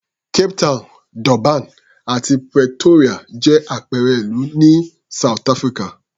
Cape Town, Durban àti Pretoria jẹ́ àpẹẹrẹ ìlú ní South Africa.